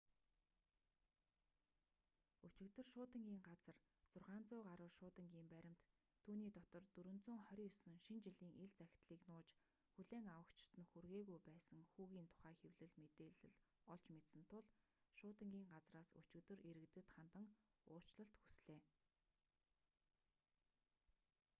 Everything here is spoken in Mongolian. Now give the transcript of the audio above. өчигдөр шуудангийн газар 600 гаруй шуудангийн баримт түүний дотор 429 шинэ жилийн ил захидлыг нууж хүлээн авагчид нь хүргээгүй байсан хүүгийн тухай хэвлэл мэдээлэл олж мэдсэн тул шуудангийн газраас өчигдөр иргэдэд хандан уучлал хүслээ